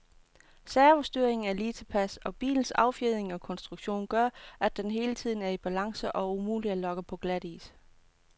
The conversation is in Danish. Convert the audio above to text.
Servostyringen er lige tilpas, og bilens affjedring og konstruktion gør, at den hele tiden er i balance og umulig at lokke på glatis.